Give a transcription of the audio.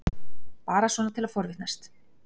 Bara svona til að forvitnast.